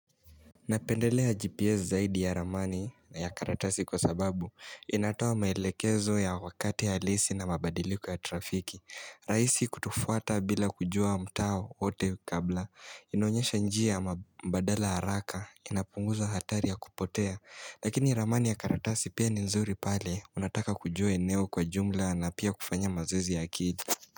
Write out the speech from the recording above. Napendelea GPS zaidi ya ramani na ya karatasi kwa sababu inatoa maelekezo ya wakati alisi na mabadiliko ya trafiki. Rahisi kutufuata bila kujua mtaa wote kabla. Inaonyesha njia ama mbadala haraka. Inapunguza hatari ya kupotea. Lakini ramani ya karatasi pia ni nzuri pale. Unataka kujua eneo kwa jumla na pia kufanya mazoezi ya akili.